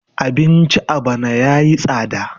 abinci a bana ya yi tsada